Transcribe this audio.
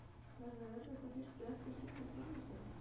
Verður erfitt að fylgja eftir slíkri frammistöðu?